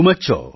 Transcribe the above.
Shri Hari જી